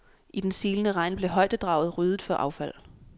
I den silende regn blev højdedraget ryddet for affald.